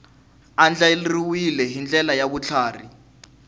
andlariwile hi ndlela ya vutlhari